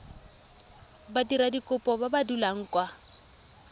badiradikopo ba ba dulang kwa